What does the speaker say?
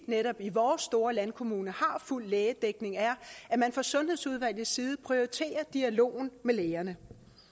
i vores store landkommune har fuld lægedækning er at man fra sundhedsudvalgets side prioriterer dialogen med lægerne